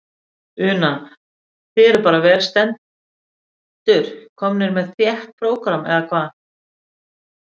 Una: Þið eruð bara vel stendur, komnir með þétt prógram, eða hvað?